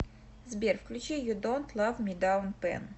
сбер включи ю донт лав ми даун пенн